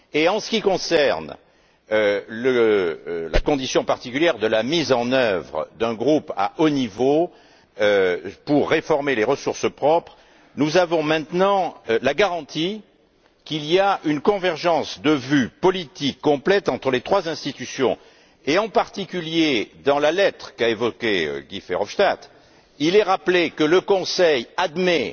En ce qui concerne la condition particulière de la mise en œuvre d'un groupe de haut niveau pour réformer les ressources propres, nous avons maintenant la garantie qu'il y a une convergence de vue politique complète entre les trois institutions. En particulier, dans la lettre que Guy Verhofstadt a évoquée, il est rappelé que le Conseil admet